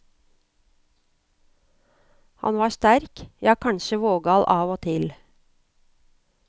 Han var sterk, ja kanskje vågal av og til.